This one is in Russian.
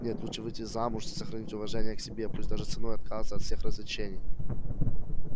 нет лучше выйти замуж и сохранить уважение к себе пусть даже ценой отказа от всех развлечений